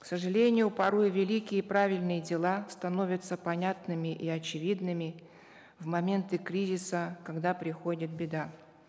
к сожалению порой великие правильные дела становятся понятными и очевидными в моменты кризиса когда приходит беда